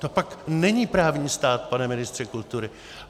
To pak není právní stát, pane ministře kultury!